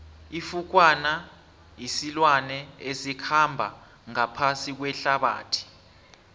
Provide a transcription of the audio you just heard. ifukwana silwane esikhamba ngaphasi kuehlabathi